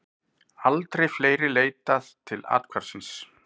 Aldrei fleiri leitað til athvarfsins